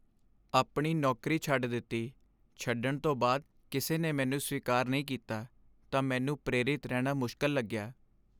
ਆਪਣੀ ਨੌਕਰੀ ਛੱਡ ਦਿੱਤੀ ਛੱਡਣ ਤੋਂ ਬਾਅਦ ਕਿਸੇ ਨੇ ਮੈਨੂੰ ਸਵੀਕਾਰ ਨਹੀਂ ਕੀਤਾ ਤਾਂ ਮੈਨੂੰ ਪ੍ਰੇਰਿਤ ਰਹਿਣਾ ਮੁਸ਼ਕਲ ਲੱਗਿਆ।